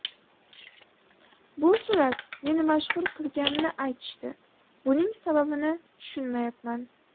Bu surat meni mashhur qilganini aytishdi, buning sababini tushunmayapman.